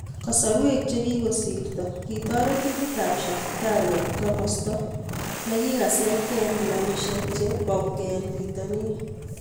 kasarweek chegigosirto , kitaret timit ap Shakhtar koit kamasto negisatgee en clubishiek che paunig en pitanin